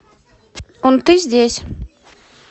унты здесь